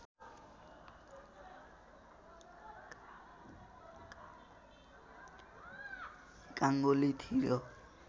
गाङ्गुली थियो